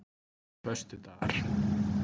föstudagar